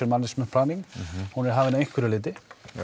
management planning hún er hafin af einhverju leiti